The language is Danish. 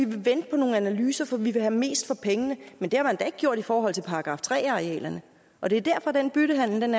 vil vente på nogle analyser for man vil have mest for pengene men det har man da ikke gjort i forhold til § tre arealerne og det er derfor den byttehandel